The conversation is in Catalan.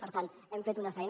per tant hem fet una feina